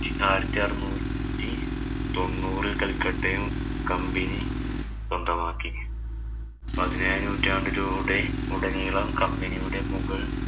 ആയിരത്തി അറുനൂറ്റി തൊണ്ണൂറില്‍ കല്‍ക്കട്ടയില്‍ company സ്വന്തമാക്കി. പതിനേഴാം നൂറ്റാണ്ടിലൂടെ ഉടനീളം company യുടെ മുഗള്‍